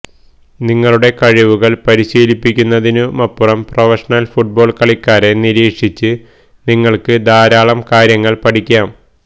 നിങ്ങളുടെ കഴിവുകൾ പരിശീലിപ്പിക്കുന്നതിനുമപ്പുറം പ്രൊഫഷണൽ ഫുട്ബാൾ കളിക്കാരെ നിരീക്ഷിച്ച് നിങ്ങൾക്ക് ധാരാളം കാര്യങ്ങൾ പഠിക്കാം